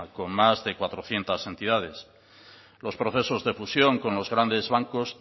con más de cuatrocientos entidades los procesos de fusión con los grandes bancos